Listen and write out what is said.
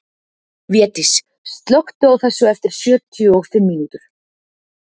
Védís, slökktu á þessu eftir sjötíu og fimm mínútur.